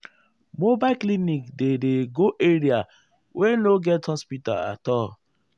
mobile clinic dey dey go area wey no get hospital at all.